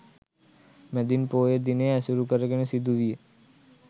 මැදින් පෝය දිනය ඇසුරු කරගෙන සිදු විය.